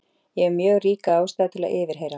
Ég hef mjög ríka ástæðu til að yfirheyra